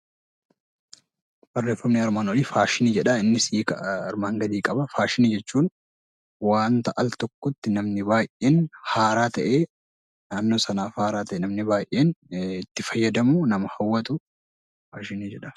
Faashinii jechuun waan altokkotti namni baayyeen haaraa ta'ee naannoo sanaaf haaraa ta'ee namni baayyeen itti fayyadamu fi nama hawwatu faashinii jedhama.